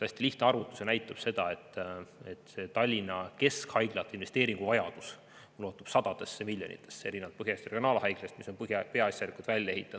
Hästi lihtne arvutus näitab, et Tallinna keskhaiglate investeeringuvajadus ulatub sadadesse miljonitesse eurodesse erinevalt Põhja-Eesti Regionaalhaiglast, mis on peaasjalikult välja ehitatud.